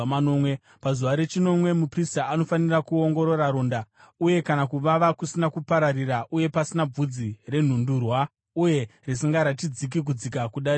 Pazuva rechinomwe muprista anofanira kuongorora ronda, uye kana kuvava kusina kupararira uye pasina bvudzi renhundurwa uye risingaratidzi kudzika kudarika ganda,